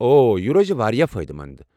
اوہ، یہ روزِ وارِیاہ فٲیدٕ مند ۔